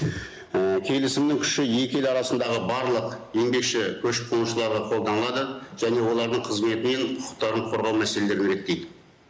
ііі келісімнің күші екі ел арасындағы барлық еңбекші көшіп қонушыларға қолданады және олардың қызметі мен құқықтарын қорғау мәселелерін реттейді